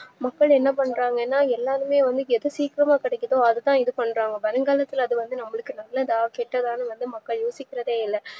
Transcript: மக்கள் என்னாபன்றாங்கனா எல்லாருமே வந்து எது சீக்கிரம் கெடைக்குதோ அதுதா இதுபண்றாங்க வருங்காலத்துல அதுவந்து நம்மளுக்கு நல்லதா கெட்டதான்னு எதும் மக்கள் யோசிக்கிறதேயில்ல